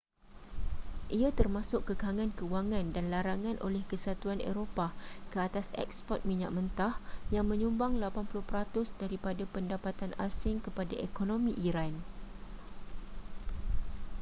ia termasuk kekangan kewangan dan larangan oleh kesatuan eropah ke atas eksport minyak mentah yang menyumbang 80% daripada pendapatan asing kepada ekonomi iran